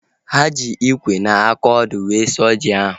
Ha ji ikwe na aka ọdụ wee sụọ ji ahu